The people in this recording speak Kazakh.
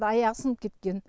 аяғы сынып кеткен